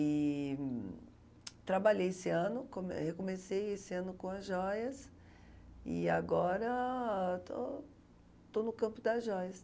E trabalhei esse ano, come recomecei esse ano com as joias e agora estou estou no campo das joias.